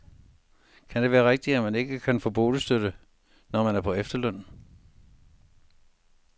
Kan det være rigtigt, at man ikke kan få boligstøtte, når man er på efterløn.